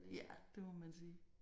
Ja det må man sige